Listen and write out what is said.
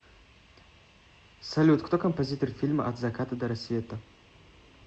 салют кто композитор фильма от заката до рассвета